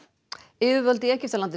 yfirvöld í Egyptalandi